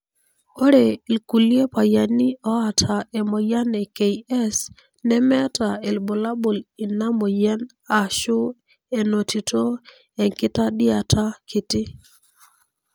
ore ilkulie payiani oata emoyian e KS nemeeta ilbulabul ina moyian ashu enotito enkitadiata kiti.